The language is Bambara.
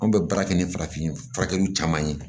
Anw bɛ baara kɛ ni farafin furakɛlaw caman ye